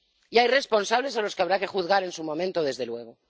Y hay responsables a los que habrá que juzgar en su momento, desde luego.